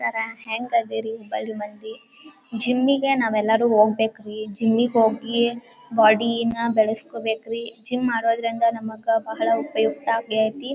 ಸರ ಹೆಂಗದೀರಿ ಹುಬ್ಬಳ್ಳಿ ಮಂದಿ? ಜಿಮ್ ಗೆ ನಾವೆಲ್ಲರು ಹೋಗ್ಬೇಕ್ರಿ ಜಿಮ್ಮಿಗ್ ಹೋಗಿ ಬಾಡಿ ನ ಬೆಳಸ್ಕೋಬೆಕ್ರಿ ಜಿಮ್ ಮಾಡೋದ್ರಿಂದ ನಮಗ ಬಹಳ ಉಪಯುಕ್ತ ಅಗೈತಿ.